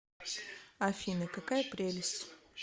афина какая прелесть